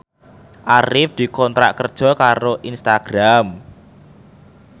Arif dikontrak kerja karo Instagram